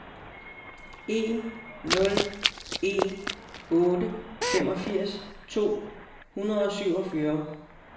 en nul en otte femogfirs to hundrede og syvogfyrre